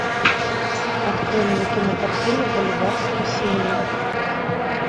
открой мне кинокартину бульвар спасения